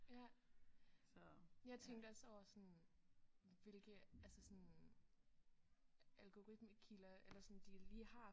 Ja jeg tænkte også over sådan hvilke altså sådan algortimekilder eller sådan de lige har